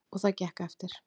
Og það gekk eftir.